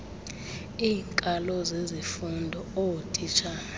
iinkalo zezifundo ootitshala